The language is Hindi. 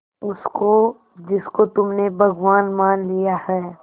उसको जिसको तुमने भगवान मान लिया है